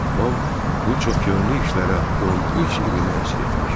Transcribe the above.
Babam bu çoxyönlü işlərə 13 ilini həsr etmiş.